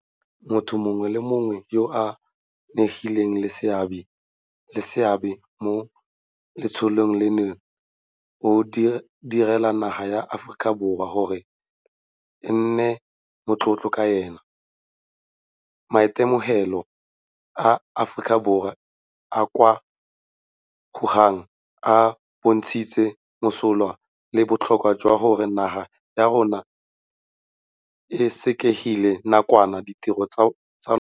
Motho mongwe le mongwe yo a nnileng le seabe mo letsholong leno o dirile naga ya Aforika Borwa gore e nne motlotlo ka ene. Maitemogelo a maAforika Borwa a a kwa Wuhan a bontshitse mosola le botlhokwa jwa gore naga ya rona e sekegele nakwana ditiro tsa yona.